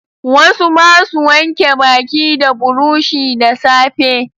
Wasu basu wanke baki da burushi da safe.